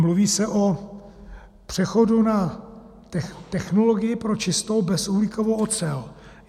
Mluví se o přechodu na technologii pro čistou bezuhlíkovou ocel.